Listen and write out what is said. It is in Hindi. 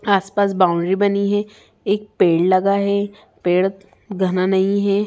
आसपास बाउंड्री बनी है एक पेड़ लगा है पेड़ घना नहीं है।